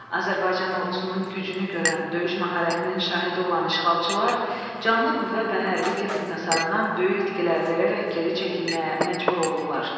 Azərbaycan ordusunun gücünü görən, döyüş məharətinin şahidi olan işğalçılar canlı qüvvə və hərbi texnikasından böyük itkilər verərək geri çəkilməyə məcbur olurlar.